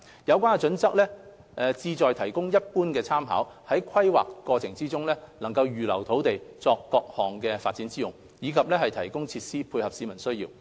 有關準則旨在提供一般參考，在規劃過程中預留土地作各項發展之用，以及提供設施配合市民需要。